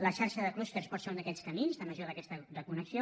la xarxa de clústers pot ser un d’aquests camins de millora d’aquesta connexió